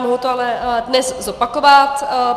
Mohu to ale dnes zopakovat.